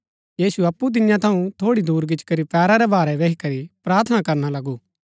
यीशु अप्पु तियां थऊँ थोड़ी दुर गिच्ची करी पैरा रै भारै बैही करी प्रार्थना करना लगु